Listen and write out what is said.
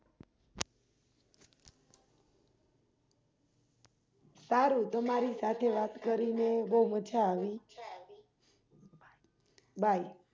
સારું તમારી સાથે વાત કરીને બોવ મજા આવી Bye